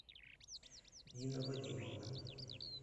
нина вадимовна